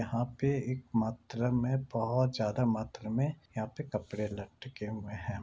यहाँ पे एक मात्रा में बोहोत ज्यादा मात्रा में यहाँ पे कपड़े लटके हुए हैं ।